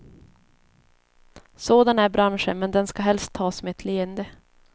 Sådan är branschen, men den ska helst tas med ett leende.